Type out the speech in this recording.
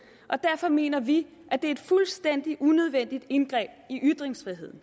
og derfor mener vi at det er et fuldstændig unødvendigt indgreb i ytringsfriheden